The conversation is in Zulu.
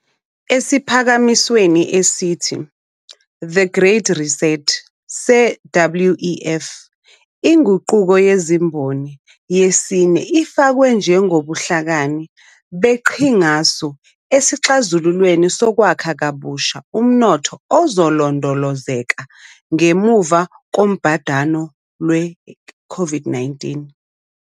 Esiphakamisweni esithi "The Great Reset" se-WEF, iNguquko yeziMboni yesine ifakwe njengobuhlakani beqhingasu esixazululweni sokwakha kabusha umnotho uzolondolozeka ngemuva kobhadane lwe-COVID-19.